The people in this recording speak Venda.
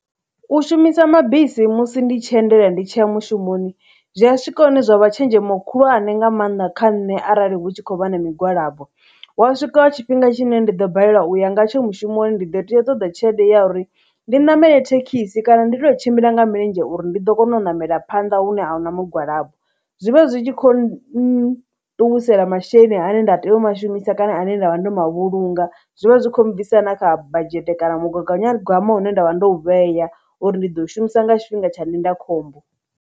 U shumisa mabisi musi ndi tshi endela ndi tshiya mushumoni zwi a swika hune zwa vha tshenzhemo khulwane nga maanḓa kha nṋe arali hu tshi khou vha na migwalabo, hu wa swika tshifhinga tshine ndi ḓo balelwa u ya nga tsho mushumoni ndi ḓo tea ṱoḓa tshelede ya uri ndi ṋamele thekhisi kana ndi tou tshimbila nga milenzhe uri ndi ḓo kona u namela phanḓa hune ahuna mugwalabo. Zwi vha zwi tshi khou nṱuwisela masheleni ane nda tea u ma shumisa kana ane nda vha ndo ma vhulunga, zwi vha zwi kho bvisa na kha budget kana mugaganyagwama une nda vha ndo u vheya uri ndi ḓo shumisa nga tshifhinga tsha ndinda khombo.